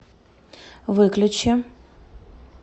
выключи